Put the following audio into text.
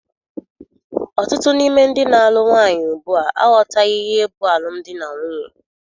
Ọtụtụ n'ime ndị na-alụ nwaanyị ugbua aghọtaghị ihe bụ alụmdi na nwunye.